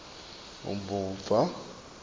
umuva